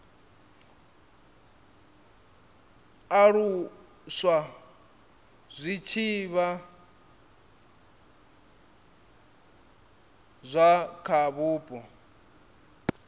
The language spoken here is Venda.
alusa zwitshavha zwa kha vhupo